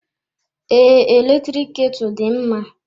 Ee, eletrik ketu dị mma.